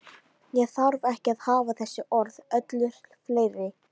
Ég þarf ekki að hafa þessi orð öllu fleiri.